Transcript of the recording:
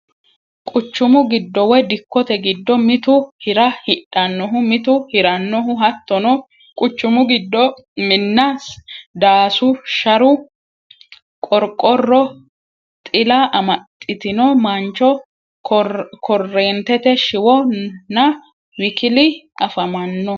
Quchumu giddo woy Dikkote giddo mitu hi'ra hidhannohu mitu hi'rannohu hattono: Quchumu giddo minna, daasu, Sharu Qorqorro ,Xila amaxxitino mancho, korreentete shiwo nna WKL afamanno.